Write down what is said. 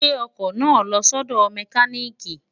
gbè ọkọ̀ náà lọ sọ́dọ̀ mẹkánị́ìkì!